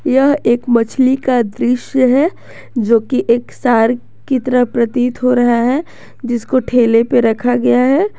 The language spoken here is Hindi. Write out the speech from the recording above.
यह एक मछली का दृश्य है जोकि एक सार्क की तरह प्रतीत हो रहा है जिसको ठेले पर रखा गया है।